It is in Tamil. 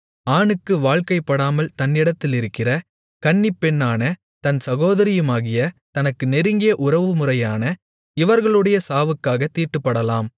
ஆணுக்கு வாழ்க்கைப்படாமல் தன்னிடத்திலிருக்கிற கன்னிப்பெண்ணான தன் சகோதரியுமாகிய தனக்கு நெருங்கிய உறவுமுறையான இவர்களுடைய சாவுக்காகத் தீட்டுப்படலாம்